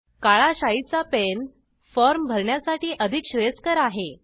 काळा शाई चा पेन फॉर्म भरण्यासाठी अधिक श्रेयस्कर आहे